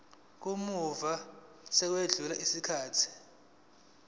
kamuva sekwedlule isikhathi